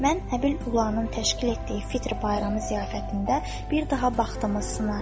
Mən Həbil Ulanın təşkil etdiyi Fitr bayramı ziyafətində bir daha bahtımı sınaram.